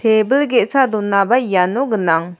tebil ge·sa donaba iano gnang.